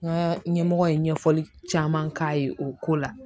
N ka ɲɛmɔgɔ ye ɲɛfɔli caman k'a ye o ko la